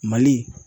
Mali